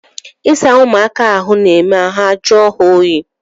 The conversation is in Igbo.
Ịsa ụ̣mụaka ahụ na-eme ahụ ajụọ ha oyi